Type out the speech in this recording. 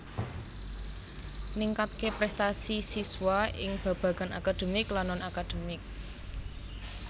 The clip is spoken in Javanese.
Ningkatké prestasi siswa ing babagan akademik lan non akademik